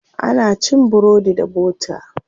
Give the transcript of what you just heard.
Ana cin burodi da bota.